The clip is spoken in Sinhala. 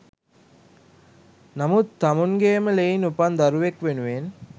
නමුත් තමුන්ගේම ලෙයින් උපන් දරුවෙක් වෙනුවෙන්